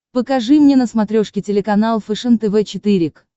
покажи мне на смотрешке телеканал фэшен тв четыре к